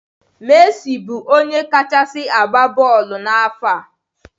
Messi bụ onye kachasi agba bọọlụ nke afọ a.